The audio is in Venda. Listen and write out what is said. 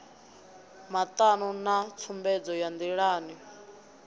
matano na tsumbedzo ya ndilani